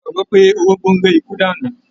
A gbàgbọ́ pé orógbó ń ré ikú dànù.